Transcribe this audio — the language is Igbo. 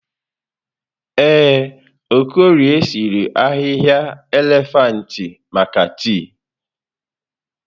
Ee, Okorie sịrị ahịhịa elefantị maka tii.